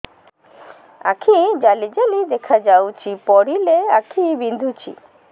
ଆଖି ଜାଲି ଜାଲି ଦେଖାଯାଉଛି ପଢିଲେ ଆଖି ବିନ୍ଧୁଛି